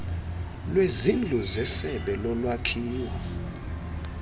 lwezindlu zesebe lolwakhiwo